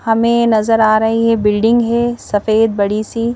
हमें नजर आ रही है बिल्डिंग है सफेद बड़ी सी--